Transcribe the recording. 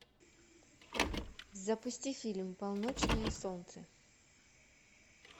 запусти фильм полночное солнце